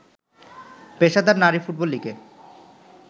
পেশাদার নারী ফুটবল লিগে